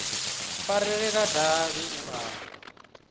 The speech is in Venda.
farelela davhi u a wa